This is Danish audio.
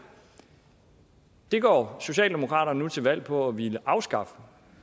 det går socialdemokratiet nu til valg på at ville afskaffe